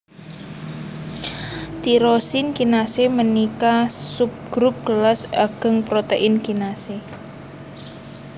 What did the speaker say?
Tirosin kinasé ménika subgrup kélas agéng protèin kinasé